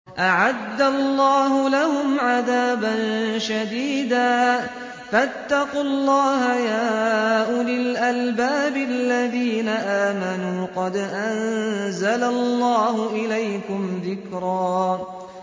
أَعَدَّ اللَّهُ لَهُمْ عَذَابًا شَدِيدًا ۖ فَاتَّقُوا اللَّهَ يَا أُولِي الْأَلْبَابِ الَّذِينَ آمَنُوا ۚ قَدْ أَنزَلَ اللَّهُ إِلَيْكُمْ ذِكْرًا